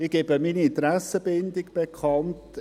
Ich gebe meine Interessenbindung bekannt: